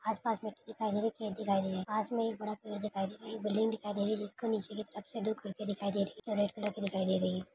आसपास में दिखाई दे रही खेत दिखाई दे रही है पास में एक बड़ा पेड़ दिखाई दे रही एक बिल्डिंग दिखाई दे रही जिसके नीचे की तरफ से दो खिडकी दिखाई दे रहे रेड कलर की दिखाई दे रही है।